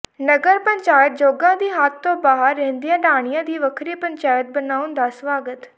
ਨਗਰ ਪੰਚਾਇਤ ਜੋਗਾ ਦੀ ਹੱਦ ਤੋਂ ਬਾਹਰ ਰਹਿੰਦੀਆਂ ਢਾਣੀਆਂ ਦੀ ਵੱਖਰੀ ਪੰਚਾਇਤ ਬਣਾਉਣ ਦਾ ਸਵਾਗਤ